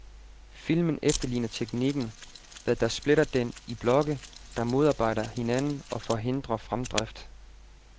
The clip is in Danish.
Filmen efterligner teknikken, hvad der splitter den i blokke, der modarbejder hinanden og forhindrer fremdrift.